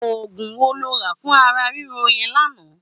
Ógún wó ló rà fún àrà rìró yèn lànã?